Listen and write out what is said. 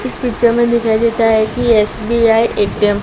इस पिक्चर में दिखाई देता है कि एस बी आई ए_टी_एम --